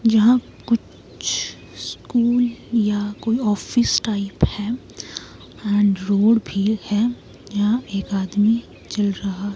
जहां कुछ स्कूल या कोई ऑफिस टाइप है एंड रोड भी है या एक आदमी चल रहा --